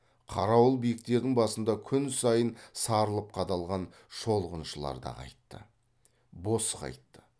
қарауыл биіктердің басында күн сайын сарылып қадалған шолғыншылар да қайтты бос қайтты